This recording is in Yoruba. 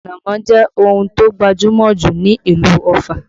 Ànámọ́ jẹ́ ohun tó gbajúmọ̀ jù ní ìlú Ọ̀fà